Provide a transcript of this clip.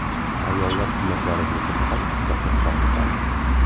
Ayollar turmaklari bo‘yicha faqat bitta qiz shogird oldim.